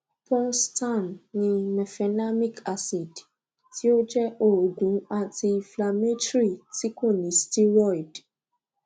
ponstan ní mefenamic acid tí ó jẹ òògùn antiinflammatory tí kò ní steroid